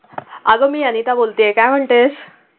अगं मी अनिता बोलतेय काय म्हणतेस?